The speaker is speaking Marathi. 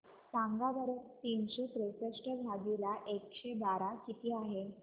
सांगा बरं तीनशे त्रेसष्ट भागीला एकशे बारा किती आहे